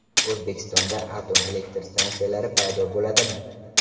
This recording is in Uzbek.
O‘zbekistonda atom elektr stansiyalari paydo bo‘ladimi?.